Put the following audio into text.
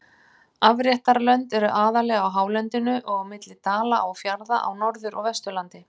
Afréttarlönd eru aðallega á hálendinu og á milli dala og fjarða á Norður- og Vesturlandi.